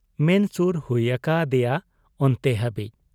ᱢᱮᱱ ᱥᱩᱨ ᱦᱩᱭ ᱟᱠᱟ ᱟᱫᱮᱭᱟ ᱚᱱᱛᱮ ᱦᱟᱹᱵᱤᱡ ᱾